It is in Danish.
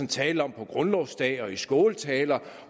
talte om på grundlovsdag og i skåltaler